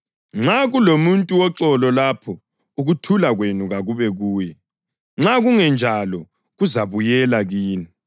Nxa kulomuntu woxolo lapho, ukuthula kwenu kakube kuye; nxa kungenjalo kuzabuyela kini.